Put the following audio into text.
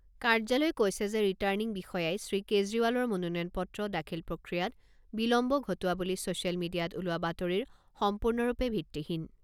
কাৰ্যালয়ে কৈছে যে ৰিটাৰ্ণিং বিষয়াই শ্ৰীকেজৰিৱালৰ মনোনয়ন পত্ৰ দাখিল প্ৰক্ৰিয়াত বিলম্ব ঘটোৱা বুলি ছ'চিয়েল মিডিয়াত ওলোৱা বাতৰিৰ সম্পূৰ্ণৰূপে ভিত্তিহীন।